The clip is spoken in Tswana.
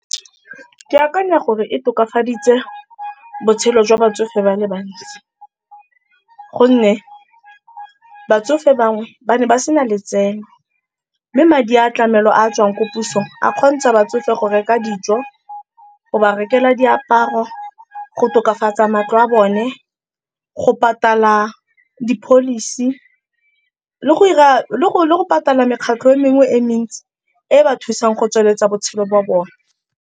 Ke akanya gore e tokafaditse botshelo jwa batsofe ba le bantsi gonne batsofe bangwe ba ne ba sena letseno, mme madi a tlamelo a tswang ko pusong a kgontsha batsofe go reka dijo, go ba rekela diaparo, go tokafatsa matlo a bone, go patala di-policy le go patala mekgatlho e mengwe e mentsi e ba thusang go tsweletsa botshelo ba bone.